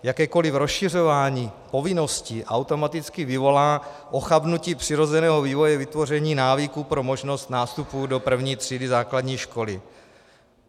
Jakékoli rozšiřování povinností automaticky vyvolá ochabnutí přirozeného vývoje vytvoření návyků pro možnost nástupu do první třídy základní školy.